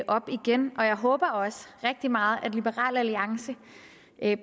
op igen jeg håber også rigtig meget at liberal alliance